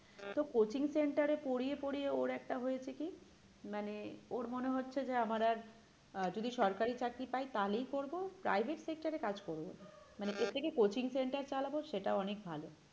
তো coaching centre এ পরিয়ে পরিয়ে ওর একটা হয়েছে কি মানে ওর মনে হচ্ছে যে আমার আর আহ যদি সরকারি চাকরি পাই তাহলেই করব private sector এ কাজ করবো না মানে এর থেকে coaching centre চালাবো সেটাও অনেক ভালো।